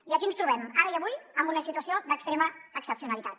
i aquí ens trobem ara i avui en una situació d’extrema excepcionalitat